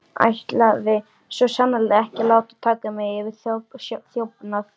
Ætlaði svo sannarlega ekki að láta taka mig fyrir þjófnað.